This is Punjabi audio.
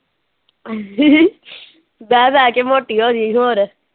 ਬਹਿ ਬਹਿ ਕੇ ਮੋਟੀ ਹੋ ਗਈ ਹੋਰ।